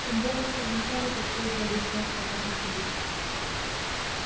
тем более что вначале пришлось бы объяснять самому себе